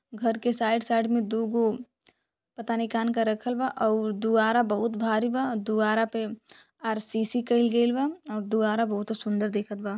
घर के side side में दुगो पता ना कान का रखल बा और दुवारा बहुत भारी बा। दुवारा पे आर.सी.सी कई गइल बा और दुवारा बहुत सुंदर दिखत बा।